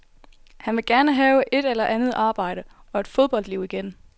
Han vil gerne have et eller andet arbejde, og et fodboldliv igen.